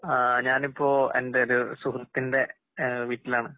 ആഹ് ഞാനിപ്പോ എൻ്റെയൊരു സുഹൃത്തിന്റെ ഏഹ് വീട്ടിലാണ്.